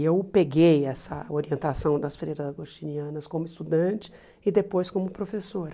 E eu peguei essa orientação das freiras agostinianas como estudante e depois como professora.